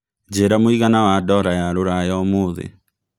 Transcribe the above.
njĩira mũigana wa dola ya rũraya ũmũthi